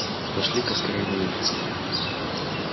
пошли-ка скорей на улицу